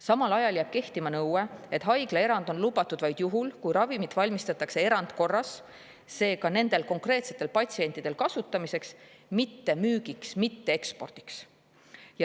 Samal ajal jääb kehtima nõue, et haiglaerand on lubatud vaid juhul, kui ravimit valmistatakse erandkorras, seega nendel konkreetsetel patsientidel kasutamiseks, mitte müügiks ega ekspordiks.